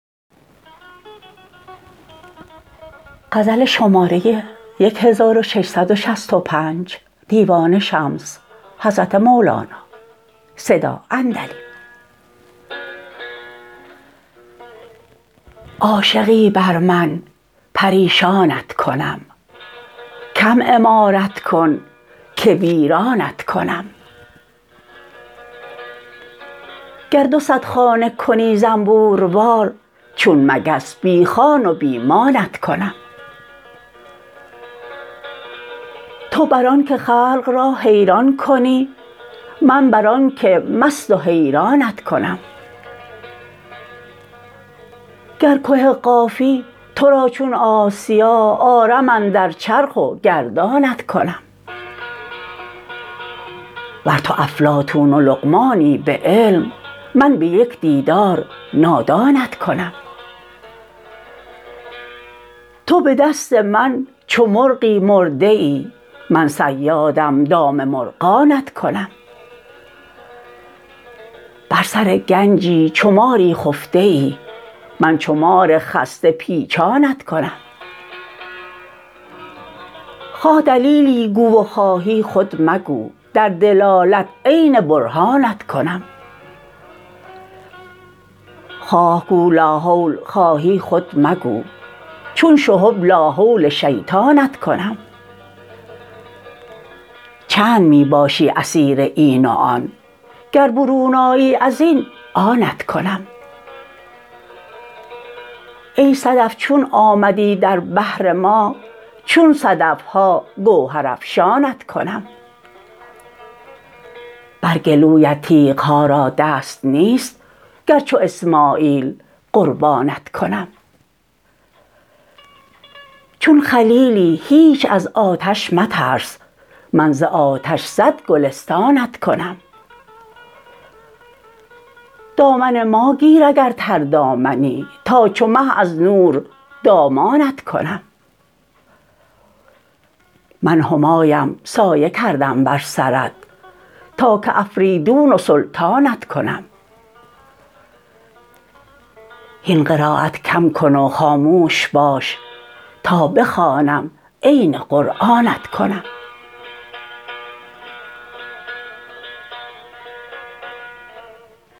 عاشقی بر من پریشانت کنم کم عمارت کن که ویرانت کنم گر دو صد خانه کنی زنبوروار چون مگس بی خان و بی مانت کنم تو بر آنک خلق را حیران کنی من بر آنک مست و حیرانت کنم گر که قافی تو را چون آسیا آرم اندر چرخ و گردانت کنم ور تو افلاطون و لقمانی به علم من به یک دیدار نادانت کنم تو به دست من چو مرغی مرده ای من صیادم دام مرغانت کنم بر سر گنجی چو ماری خفته ای من چو مار خسته پیچانت کنم خواه دلیلی گو و خواهی خود مگو در دلالت عین برهانت کنم خواه گو لاحول خواهی خود مگو چون شهب لاحول شیطانت کنم چند می باشی اسیر این و آن گر برون آیی از این آنت کنم ای صدف چون آمدی در بحر ما چون صدف ها گوهرافشانت کنم بر گلویت تیغ ها را دست نیست گر چو اسماعیل قربانت کنم چون خلیلی هیچ از آتش مترس من ز آتش صد گلستانت کنم دامن ما گیر اگر تردامنی تا چو مه از نور دامانت کنم من همایم سایه کردم بر سرت تا که افریدون و سلطانت کنم هین قرایت کم کن و خاموش باش تا بخوانم عین قرآنت کنم